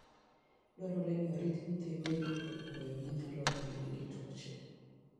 Dwarore ni orit nyithii winy kuom koyo ma nyalo kelonegi tuoche.